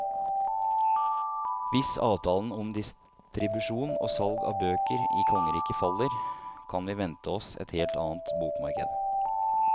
Hvis avtalen om distribusjon og salg av bøker i kongeriket faller, kan vi vente oss et helt annet bokmarked.